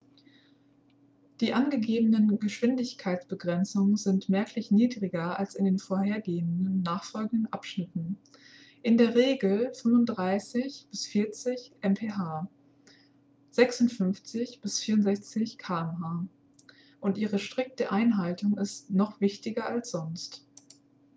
die angegebenen geschwindigkeitsbegrenzungen sind merklich niedriger als in den vorhergehenden und nachfolgenden abschnitten - in der regel 35-40 mph 56-64 km/h - und ihre strikte einhaltung ist noch wichtiger als sonst